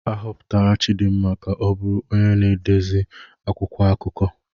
A họpụtara Chidinma ka ọ bụrụ onye na-edezi akwụkwọ akụkọ